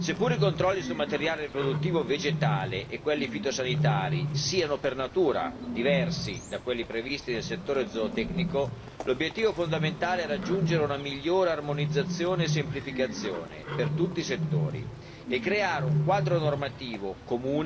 Sebbene i controlli sul materiale riproduttivo vegetale e quelli fitosanitari siano per natura diversi da quelli previsti nel settore zootecnico, l'obiettivo fondamentale è raggiungere una migliore armonizzazione e semplificazione per tutti i settori